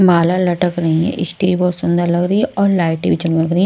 माला लटक रही है स्टेज बहोत सुंदर लग रही है और लाइट भी चमक रही है।